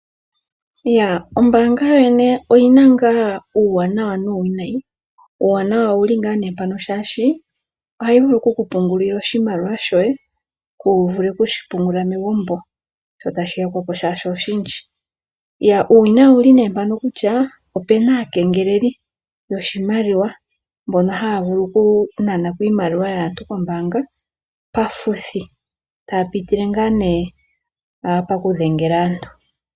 Ombanga yo yene oyina nga uuwanawa nuuwinayi, uuwanawa owuli nga mpaka, shashi ohayi vulu okuku pungulila oshimaliwa shoye, ku vule okushi pungulile megumbo sho tashi yakwapo sho oshindji. Uuwinayi owuli ne mpaka kutya opena aakengeleli yoshimaliwa mboka haya vulu oku nanako iimaliwa yaantu koombanga, pafuthi taya pitile nga ne pakudhengela aantu.